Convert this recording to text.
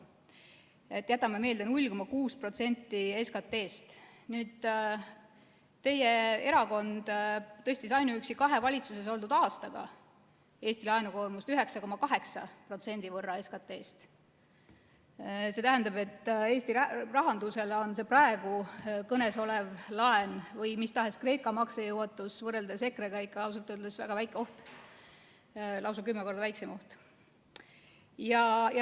Nii et jätame meelde: 0,6% SKT‑st. Teie erakond tõstis ainuüksi kahe valitsuses oldud aastaga Eesti laenukoormust 9,8% võrra SKT‑st. See tähendab, et Eesti rahandusele on see praegu kõne all olev laen või mis tahes Kreeka maksejõuetus võrreldes EKRE-ga ikka ausalt öeldes väga väike oht, lausa kümme korda väiksem oht.